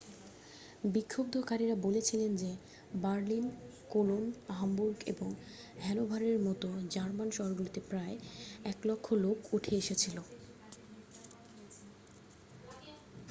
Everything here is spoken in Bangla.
বিক্ষুব্ধকারীরা বলেছিলেন যে বার্লিন কোলোন হামবুর্গ এবং হ্যানোভারের মতো জার্মান শহরগুলিতে প্রায় 100,000 লোক উঠে এসেছিল